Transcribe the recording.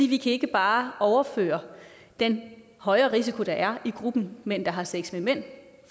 vi kan ikke bare overføre den høje risiko der er i gruppen mænd der har sex med mænd